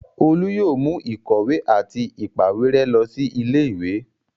Olú yóò mú ìkọ̀wé àti ìpàwérẹ́ lọ sí ilé-ìwé?